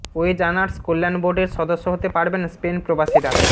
wedge earners কল্যাণ বোর্ডের সদস্য হতে পারবেন স্পেন প্রবাসীরা